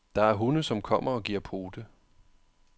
Der er hunde, som kommer og giver pote.